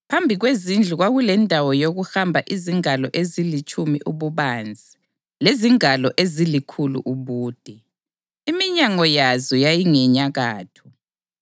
Phambi kwezindlu kwakulendawo yokuhamba izingalo ezilitshumi ububanzi lezingalo ezilikhulu ubude. Iminyango yazo yayingenyakatho.